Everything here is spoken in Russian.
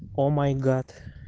о май гад